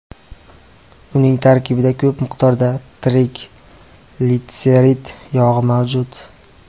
Uning tarkibida ko‘p miqdorda triglitserid yog‘i mavjud.